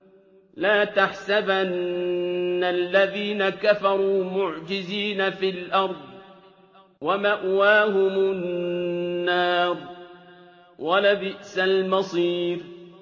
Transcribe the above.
لَا تَحْسَبَنَّ الَّذِينَ كَفَرُوا مُعْجِزِينَ فِي الْأَرْضِ ۚ وَمَأْوَاهُمُ النَّارُ ۖ وَلَبِئْسَ الْمَصِيرُ